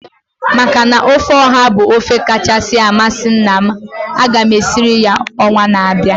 Maka na ofe ọha bụ ofe kachasị amasị nna m, aga m esirie ya ọnwa na-abịa